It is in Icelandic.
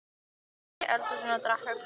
Þær sitja í eldhúsinu og drekka kók.